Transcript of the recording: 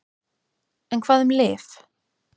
En hvað um lyf?